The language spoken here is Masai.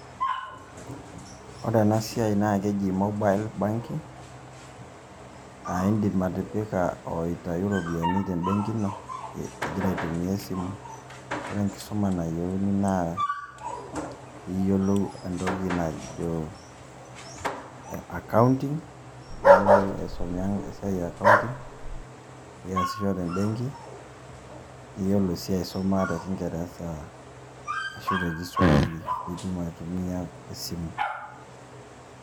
Kore ena siai naake eji mobile banking, aa indim aitipika o aitayu iropiani te mbenki ino ing'ira aitumia e simu. Ore enkisuma nayeuni naa piiyolou entoki najo accounting, nilo aisomea esiai e accounting niaisho te mbenki, niyolo sii aisoma te kingereza ashu te kiswahili pitum aitumia esimu.